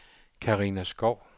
Carina Skou